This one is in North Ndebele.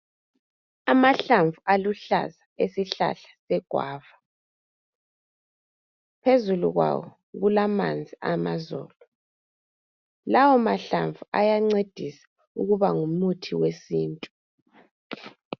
amahlamvu aluhlaza awesihlahla segwava phezulu kwawo kulamanzi awamazola lawa mahlamvu ayancedisa ukuba ngumuthi wesintu